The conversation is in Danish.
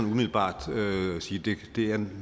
umiddelbart sige det kan